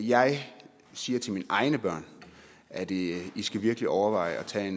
jeg siger til mine egne børn at i skal virkelig overveje at tage